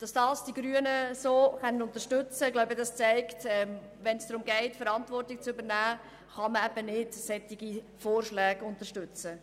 Dass die Grünen dieses Votum unterstützen können, zeigt, dass man ebensolche Vorschläge nicht unterstützen kann, wenn es gilt, Verantwortung zu übernehmen.